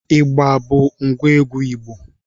Igba bụ ngwa egwu Igbo